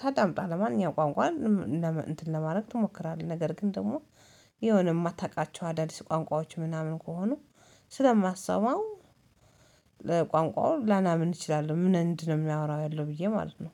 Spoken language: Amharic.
ታዳምጣለህ? ማንኛውም ቋንቋ እንትን ለማድረግ ትሞክራለህ ነገር ግን ደግሞ የሆነ የማታውቃቸው አዳዲስ ቋንቋዎች ምናምን ከሆኑ ስለማትሰማው ለቋንቋው ላናምን እችላለሁ። ምን እንደምን አሚያወራው ያለው ብዬ ማለት ነው።